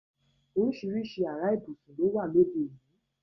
Orísirísi ará ibùsùn lówà lóde òní.